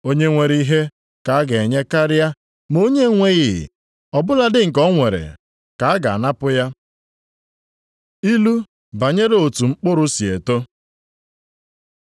Onye nwere ihe ka a ga-enye karịa; onye na-enweghị, ọ bụladị nke o nwere ka a ga-anapụ ya.” Ilu banyere otu mkpụrụ si eto